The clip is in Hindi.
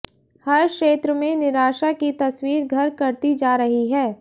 हर क्षेत्र में निराशा की तस्वीर घर करती जा रही है